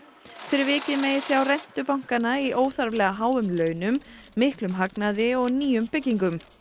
fyrir vikið megi sjá rentu bankanna í óþarflega háum launum miklum hagnaði og nýjum byggingum